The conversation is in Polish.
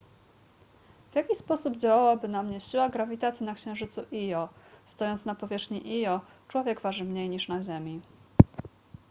w jaki sposób działałaby na mnie siła grawitacji na księżycu io stojąc na powierzchni io człowiek waży mniej niż na ziemi